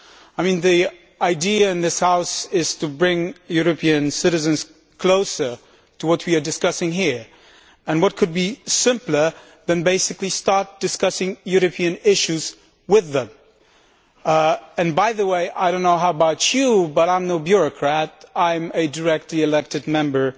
I mean, the idea in this House is to bring European citizens closer to what we are discussing here and what could be simpler then basically starting to discuss European issues with them. By the way, I can only speak for myself, but I am no bureaucrat I am a directly elected member